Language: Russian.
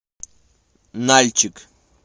нальчик